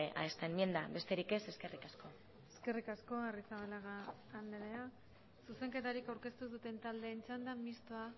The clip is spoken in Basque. a esta enmienda besterik ez eskerrik asko eskerrik asko arrizabalaga andrea zuzenketarik aurkeztu ez duten taldeen txanda mistoa